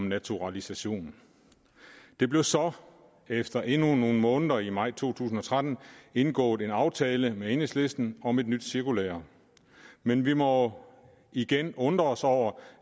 naturalisation der blev så efter endnu nogle måneder i maj to tusind og tretten indgået en aftale med enhedslisten om et nyt cirkulære men vi må igen undres over